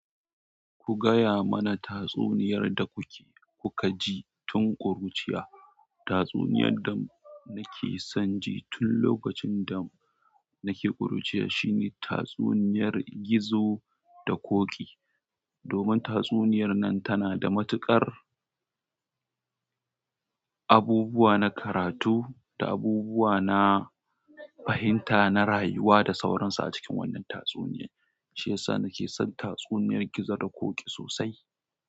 Ku gaya mana tatsuniyar da kuke kuka ji tun kuruciya. Tatsuniyar da nake son ji tun lokacin da nake kuruciya shine tatsuniyar gizo da ƙoƙi. Domin tatsuniyar nan tana da matuƙar abubuwa na karatu da abubuwa na fahimta na rayuwa da sauransu a cikin wannan tatsuniya, shi ya sa nake son tatsuniyar gizo da ƙoƙi sosai.